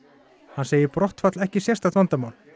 hann segir brottfall ekki sérstakt vandamál